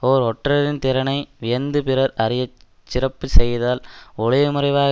ஓர் ஒற்றரின் திறனை வியந்து பிறர் அறிய சிறப்பு செய்தால் ஒளிவு மறைவாக